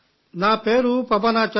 నా పేరు పవన్ ఆచార్య